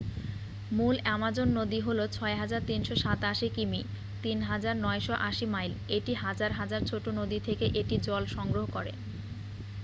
মূল অ্যামাজন নদী হল ৬,৩৮৭ কি.মি. ৩,৯৮০ মাইল। এটি হাজার হাজার ছোট নদী থেকে এটি জল সংগ্রহ করে।